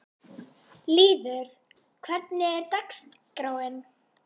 Lýður, hvernig er dagskráin?